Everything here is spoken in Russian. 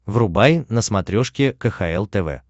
врубай на смотрешке кхл тв